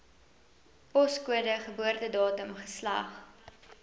poskode geboortedatum geslag